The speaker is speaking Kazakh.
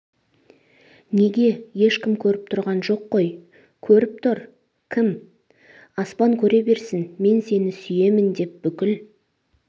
неге ешкім көрген жоқ қой көріп тұр кім аспан көре берсін мен сені сүйемін деп бүкіл